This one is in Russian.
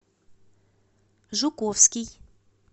жуковский